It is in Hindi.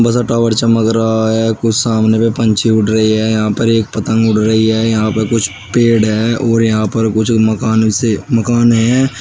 था टावर चमक रहा है कुछ सामने पे पंछी उड़ रहे है यहां पर एक पतंग उड़ रही है यहां पे कुछ पेड़ है और यहां पर कुछ मकान से मकान है।